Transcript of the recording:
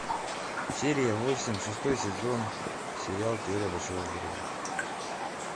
серия восемь шестой сезон сериал теория большого взрыва